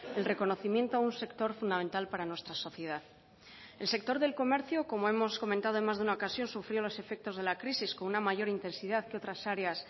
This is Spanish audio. el reconocimiento a un sector fundamental para nuestra sociedad el sector del comercio como hemos comentado en más de una ocasión sufrió los efectos de la crisis con una mayor intensidad que otras áreas